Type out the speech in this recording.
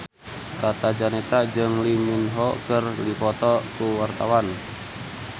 Tata Janeta jeung Lee Min Ho keur dipoto ku wartawan